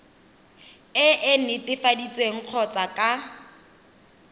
e e netefaditsweng kgotsa ka